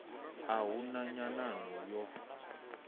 a hu na nyanano yo